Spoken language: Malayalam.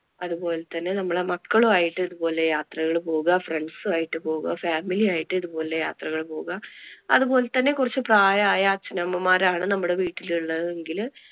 അതുപോലെ തന്നെ നമ്മുടെ മക്കളും ആയിട്ട് ഇതുപോലെ യാത്രകൾ പോവുക. friends ആയിട്ട് പോവുക family ആയിട്ട് ഇതുപോലെ പോവുക. അതുപോലെ തന്നെ കുറച്ചു പ്രായം ആയ അച്ഛനമ്മമാരാണ് നമ്മുടെ വീട്ടിൽ ഉള്ളതെങ്കില്